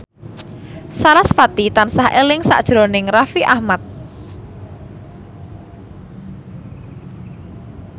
sarasvati tansah eling sakjroning Raffi Ahmad